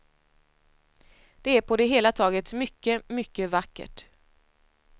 Det är på det hela taget mycket, mycket vackert.